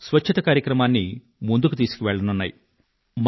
కూడా స్వచ్ఛత కార్యక్రమాన్ని ముందుకు తీసుకువెళ్లనున్నాయి